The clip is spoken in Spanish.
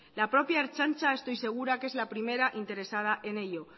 la propia ertzaintza estoy segura que es la primera interesada en ello